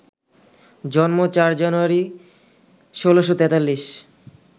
জন্ম ৪ জানুয়ারি, ১৬৪৩